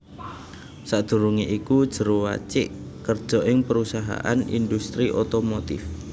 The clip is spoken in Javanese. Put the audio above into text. Sadurungé iku Jero Wacik kerja ing perusahaan industri otomotif